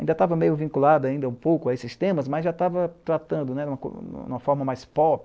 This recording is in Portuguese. Ainda estava meio vinculado ainda um pouco a esses temas, mas já estava tratando de uma forma mais pop.